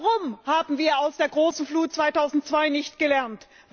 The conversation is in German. Warum haben wir aus der großen Flut 2002 nichts gelernt?